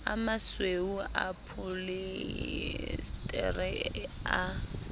a masweu a pholiesetere a